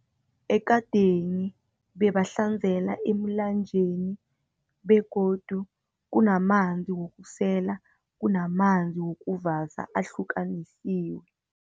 Ekadeni bebahlanzela emlanjeni, begodu kunamanzi wokusela, kunamanzi wokuvasa, ahlukanisiwe.